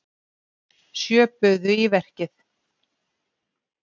Sjö buðu í verkið.